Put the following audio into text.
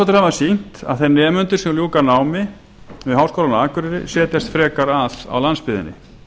rannsóknir hafa sýnt að þeir nemendur sem ljúka námi við háskólann á akureyri setjast frekar að á landsbyggðinni